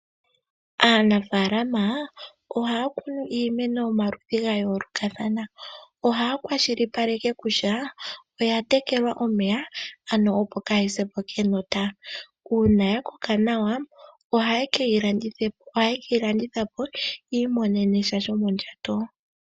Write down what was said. Aanafalama ohaya kunu iimeno yomaludhi ga yoolokathana. Ohaya kwashilipaleke kutya oya tekelwa omeya, ano opo kayi se po kenota. Uuna ya koka nawa, ohaye ke yi landitha po ya imonene mo sha shomondjato.